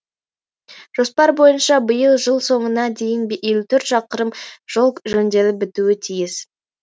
жоспар бойынша биыл жыл соңына дейін елу төрт шақырым жол жөнделіп бітуі тиіс